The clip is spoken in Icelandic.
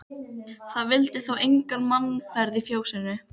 Það vildi þá enga mannaferð í fjósinu.